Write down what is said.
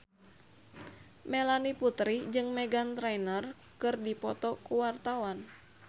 Melanie Putri jeung Meghan Trainor keur dipoto ku wartawan